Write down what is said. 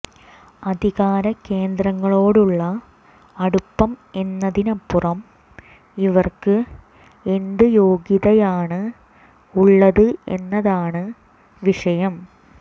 അധികാരകേന്ദ്രങ്ങളോടുള്ള അടുപ്പം എന്നതിനപ്പുറം ഇവര്ക്ക് എന്ത് യോഗ്യതയാണ് ഉള്ളത് എന്നതാണ് വിഷയം